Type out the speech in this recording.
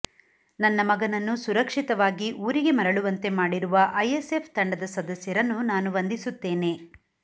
ನನ್ನ ಮಗನನ್ನು ಸುರಕ್ಷಿತವಾಗಿ ಊರಿಗೆ ಮರಳುವಂತೆ ಮಾಡಿರುವ ಐಎಸ್ ಎಫ್ ತಂಡದ ಸದಸ್ಯರನ್ನು ನಾನು ವಂದಿಸುತ್ತೇನೆ